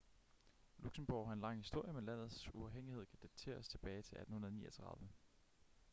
luxembourg har en lang historie men landets uafhængighed kan dateres tilbage til 1839